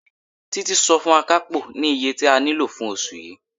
Títí sọ fún Akapo ní iye tí a nílò fún oṣù yii.